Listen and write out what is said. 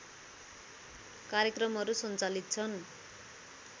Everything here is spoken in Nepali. कार्यक्रमहरू सञ्चालित छन्